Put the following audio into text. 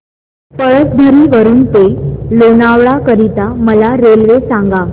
पळसधरी वरून ते लोणावळा करीता मला रेल्वे सांगा